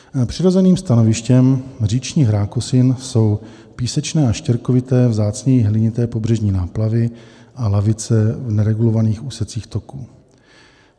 Přirozeným stanovištěm říčních rákosin jsou písečné a štěrkovité, vzácněji hlinité pobřežní náplavy a lavice v neregulovaných úsecích toků.